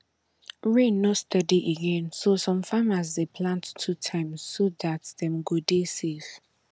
rain no steady again so some farmers dey plant two times so dat dem go dey safe